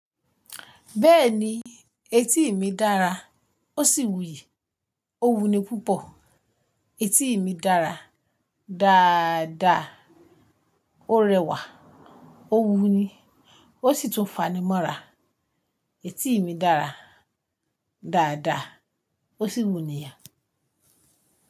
Bẹ́ẹ̀ni etí mi dára ó sì wuyì, ó wuni púpọ̀. Etí mi dára dáàda, ó rẹwà ó wuni ó sì tún fanimọ́ra. Etí mi dára dáàda ó sì wuni yàn.